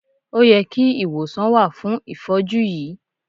O yẹ kí ìwòsàn wà fún ìfọ́jú yìí.